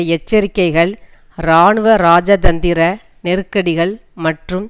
எச்சரிக்கைகள் இராணுவஇராஜதந்திர நெருக்கடிகள் மற்றும்